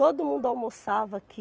Todo mundo almoçava aqui.